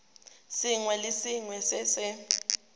sengwe le sengwe se se